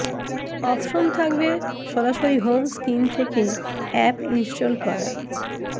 option থাকবে সরাসরি home screen থেকে অ্যাপ ইনস্টল করার